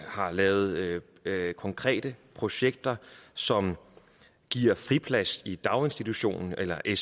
har lavet konkrete projekter som giver friplads i daginstitution eller i